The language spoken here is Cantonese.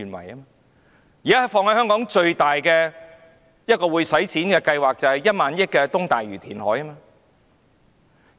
現在香港花費最大的計劃，就是1萬億元的東大嶼填海。